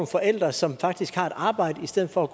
forældre som faktisk har et arbejde i stedet for at